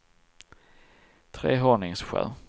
Trehörningsjö